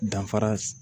Danfara s